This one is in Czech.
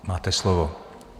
Máte slovo.